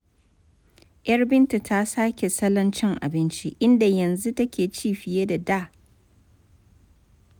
Yar Binta ta sake salon cin abinci, inda yanzu take ci fiye da da.